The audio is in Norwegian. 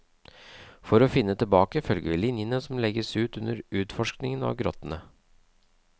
For å finne tilbake, følger vi linene som legges ut under utforskningen av grottene.